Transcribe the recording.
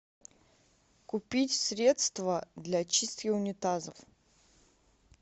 купить средство для чистки унитазов